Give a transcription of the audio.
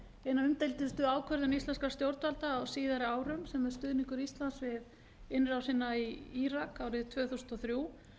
eina umdeildustu ákvörðun íslenskra stjórnvalda á síðari árum sem er stuðningur íslands við innrásina í írak árið tvö þúsund og þrjú